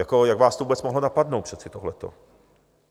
Jak vás to vůbec mohlo napadnout přece tohleto?